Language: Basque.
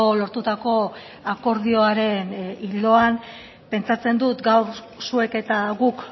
lortutako akordioaren ildoan pentsatzen dut gaur zuek eta guk